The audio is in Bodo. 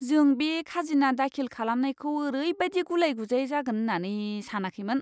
जों बे खाजोना दाखिल खालामनायखौ ओरैबायदि गुलाय गुजाय जागोन होन्नानै सानाखैमोन!